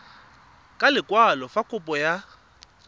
ka lekwalo fa kopo ya